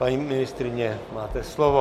Paní ministryně, máte slovo.